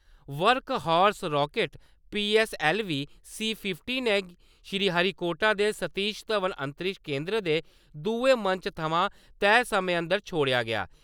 Workhorse rocket PSLV C fifty Sriharikota दे सतीश धवन अंतरिक्ष केन्द्र दे दुए मंच थमां तैह् समय अंदर छोड़ेआ गेआ।